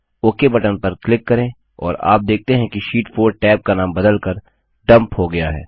okay button पर click करें और आप देखते हैं कि शीट 4 टैब का नाम बदलकर डम्प हो गया है